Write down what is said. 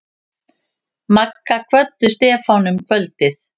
Magga kvöddu Stefán um kvöldið.